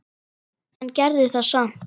En gerði það samt.